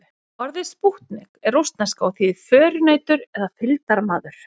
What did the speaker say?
Orðið spútnik er rússneska og þýðir förunautur eða fylgdarmaður.